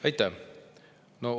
Aitäh!